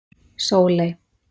Sóley